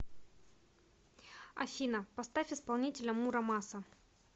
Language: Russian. афина поставь исполнителя мура маса